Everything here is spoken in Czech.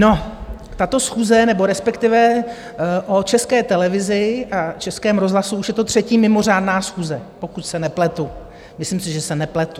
No, tato schůze, nebo respektive o České televizi a Českém rozhlasu už je to třetí mimořádná schůze, pokud se nepletu, myslím si, že se nepletu.